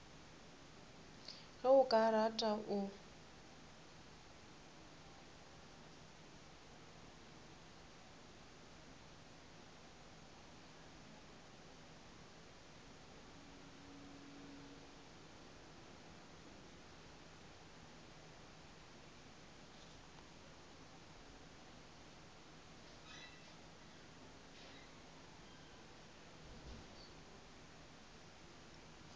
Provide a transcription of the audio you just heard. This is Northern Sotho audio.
ge o ka rata o